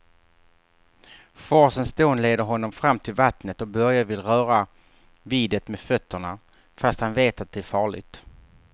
Forsens dån leder honom fram till vattnet och Börje vill röra vid det med fötterna, fast han vet att det är farligt.